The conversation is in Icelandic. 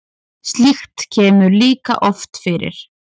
slíkt kemur líka oft fyrir